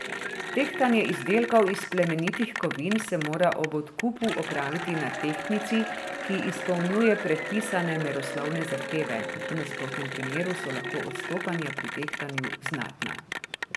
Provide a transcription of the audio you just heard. Tehtanje izdelkov iz plemenitih kovin se mora ob odkupu opraviti na tehtnici, ki izpolnjuje predpisane meroslovne zahteve, v nasprotnem primeru so lahko odstopanja pri tehtanju znatna.